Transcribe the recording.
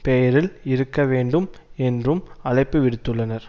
பெயரில் இருக்கவேண்டும் என்றும் அழைப்பு விடுத்துள்ளனர்